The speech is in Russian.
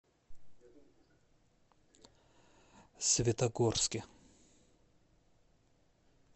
светогорске